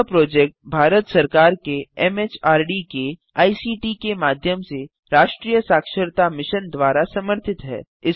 यह प्रोजेक्ट भारत सरकार के एमएचआरडी के आईसीटी के माध्यम से राष्ट्रीय साक्षरता मिशन द्वारा समर्थित है